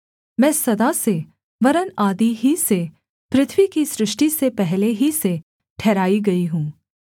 मैं सदा से वरन् आदि ही से पृथ्वी की सृष्टि से पहले ही से ठहराई गई हूँ